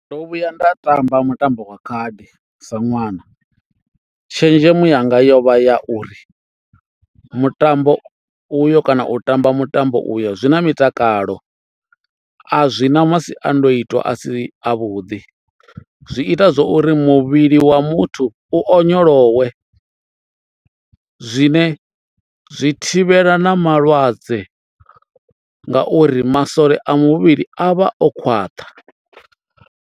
Ndo vhuya nda tamba mutambo wa khadi sa ṅwana. Tshenzhemo yanga yovha ya uri mutambo uyo kana u tamba mutambo uyo zwi na mitakalo a zwi na masiandoitwa a si a vhuḓi, zwi ita zwori muvhili wa muthu u onyolowe zwine zwi thivhela na malwadze ngauri masole a muvhili a vha o khwaṱha.